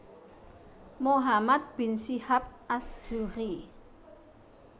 Muhammad bin Syihab Az Zuhriy